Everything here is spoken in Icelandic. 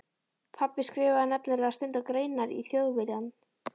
Pabbi skrifaði nefnilega stundum greinar í Þjóðviljann.